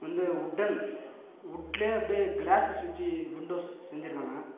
இது உட்டன் உட்லயே அப்டியே கிளாஸ்சஸ் வெச்சு வின்டோஸ் செஞ்சுருக்காங்க.